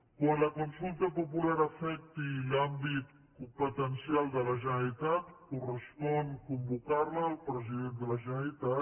quan la consulta popular afecti l’àmbit competencial de la generalitat correspon convocar la al president de la generalitat